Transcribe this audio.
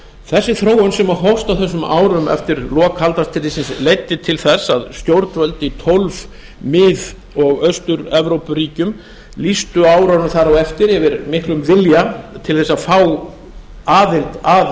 þessi þróun sem hófst á þessum árum eftir lok kalda stríðsins leiddi til þess að stjórnvöld í tólf mið og austur evrópuríkjum lýstu á árunum þar á eftir yfir miklum vilja til þess að fá aðild að